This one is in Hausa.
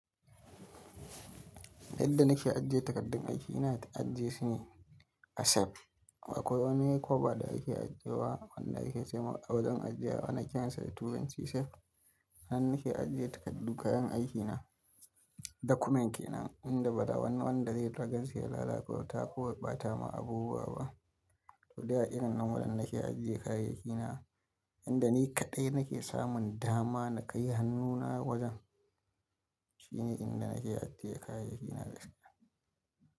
Yadda nake ajiye takardun aiki, ina ajiye shine a safe. Akwai wani kofa da ake ajiyewa wanda ake ce wa a wajen ajiye wa ana kiran sa turanci safe. Hannan nake ajiye takardu kayan aikina dakuman kenan inda ba wani wanda zai ragar shi ya lalacata ko bata ma abubuwa ba. To dai a irin wannan wajen nake ajiye kayayyaki na. Inda ni kaɗai nake samun dama na kai hannuna wajen shine inda nake ajiye kayayyaki na gaskiya.